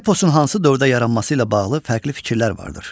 Eposun hansı dövrdə yaranması ilə bağlı fərqli fikirlər vardır.